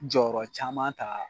Jɔyɔrɔ caman ta.